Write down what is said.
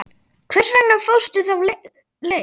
Hvers vegna fórstu þá leið?